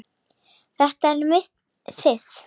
Þetta er mitt fiff.